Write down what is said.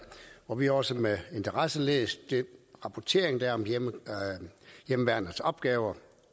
og vi har også med interesse læst den rapportering der er om hjemmeværnets opgaver